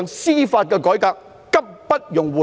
司法改革刻不容緩。